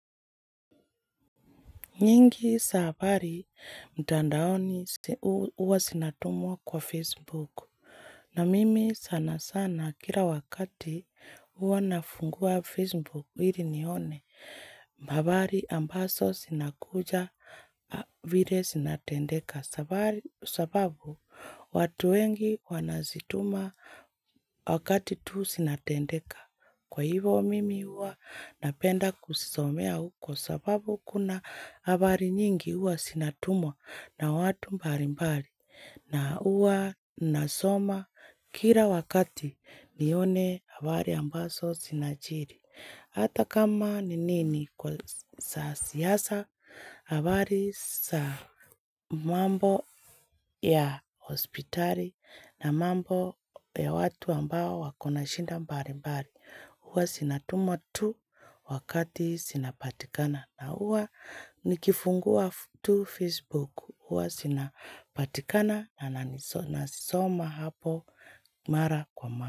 Nyingi za habari mtandaoni huwa zinatumwa kwa Facebook na mimi sana sana kila wakati huwa nafungua Facebook ili nione habari ambazo zinakuja vile zinatendeka sababu watu wengi wanazituma wakati tu zinatendeka. Kwa hivyo mimi huwa napenda kuzisomea huko sababu kuna habari nyingi huwa zinatumwa na watu mbali mbali na huwa nasoma kila wakati nione habari ambazo zinajiri. Hata kama ni nini kwa za siasa, habari za mambo ya hospitali na mambo ya watu ambao wako na shida mbali mbali, huwa zinatumwa tu wakati zinapatikana. Na huwa nikifungua tu Facebook, huwa zinapatikana na nazisoma hapo mara kwa mara.